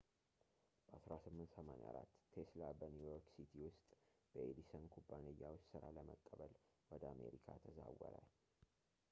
በ 1884 ቴስላ በኒው ዮርክ ሲቲ ውስጥ በኤዲሰን ኩባንያ ውስጥ ሥራ ለመቀበል ወደ አሜሪካ ተዛወረ